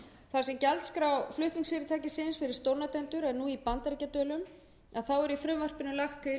þar sem gjaldskrá flutningsfyrirtækisins eru stórnotendur er nú í bandaríkjadölum þá er í frumvarpinu lagt til